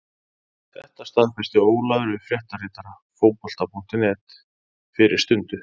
Þetta staðfesti Ólafur við fréttaritara Fótbolta.net fyrir stundu.